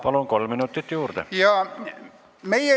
Palun, kolm minutit juurde!